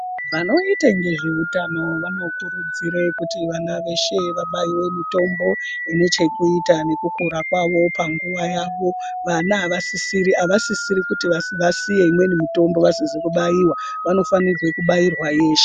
Vanoite ngezveutano vanokurudzire kuti vana veshe vabaiwe mitombo inechekuta nekukura kwavo panguva yavo. Vana avasisiri kuti vasiye imweni mitombo vasizi kubaiwa vanofanirwe kubairwa yeshe.